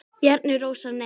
Bjarni Rósar Nei.